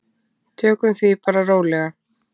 Tökum því bara rólega.